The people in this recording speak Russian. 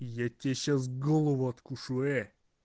я тебе сейчас голову откушу э